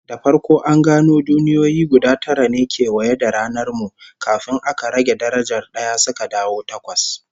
Da farko an gano duniyoyi guda tara ne kewaye da ranar mu, kafin aka rage darajar d'aya suka dawo takwas